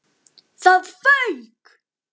ÞAÐ FAUK!